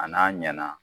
A n'a ɲɛna